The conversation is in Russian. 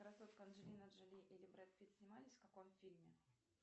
красотка анджелина джоли или брэд питт снимались в каком фильме